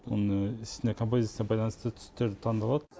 оның үстіне композицияға байланысты түстер таңдалады